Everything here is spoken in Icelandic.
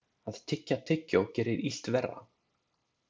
Að tyggja tyggjó gerir illt verra.